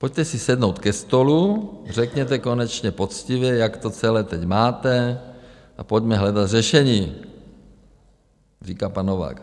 Pojďte si sednout ke stolu, řekněte konečně poctivě, jak to celé teď máte, a pojďme hledat řešení, říká pan Novák.